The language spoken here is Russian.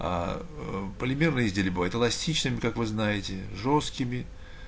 аа полимерные изделия бывают эластичные как вы знаете жёсткими